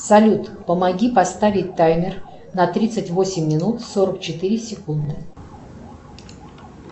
салют помоги поставить таймер на тридцать восемь минут сорок четыре секунды